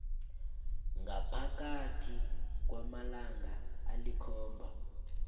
ngaphakathi kwamalanga alikhomba